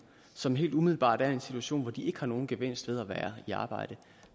som helt umiddelbart er i en situation hvor de ikke får nogen gevinst ved at være i arbejde